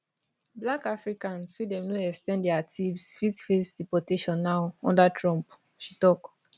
black africans wey dem no ex ten d dia tps fit face deportation now under trump she tok